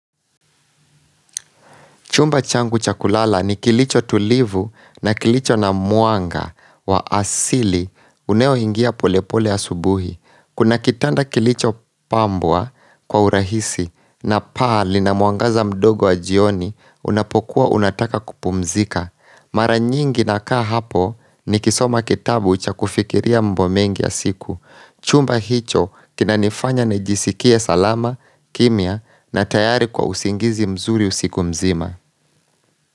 Chumba changu chakulala ni kilicho tulivu na kilicho na mwanga wa asili unao ingia polepole asubuhi. Kuna kitanda kilicho pambwa kwa urahisi na pali na mwangaza mdogo wa jioni unapokua unataka kupumzika. Mara nyingi na kaa hapo ni kisoma kitabu cha kufikiria mambo mengi ya siku. Chumba hicho kinanifanya nijisikie salama, kimia na tayari kwa usingizi mzuri usiku mzima.